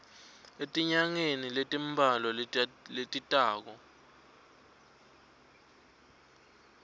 etinyangeni letimbalwa letitako